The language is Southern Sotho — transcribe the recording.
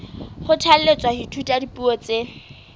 kgothalletswa ho ithuta dipuo tse